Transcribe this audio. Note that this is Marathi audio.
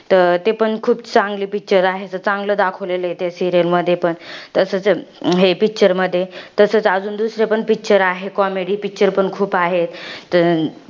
तर ते पण खूप चांगले picture आहे. तर चांगलं दाखवलेलं आहे त्या serial मध्ये पण. तसच, हे picture मध्ये. तसच अजून दुसरे पण picture आहे, comedy picture पण खूप आहे.